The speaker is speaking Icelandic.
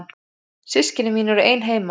Systkini mín eru ein heima.